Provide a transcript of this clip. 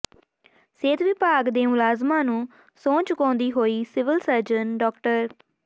ਸਿਹਤ ਵਿਭਾਗ ਦੇ ਮੁਲਾਜ਼ਮਾਂ ਨੂੰ ਸਹੁੰ ਚੁਕਾਉਂਦੀ ਹੋਈ ਸਿਵਲ ਸਰਜਨ ਡਾ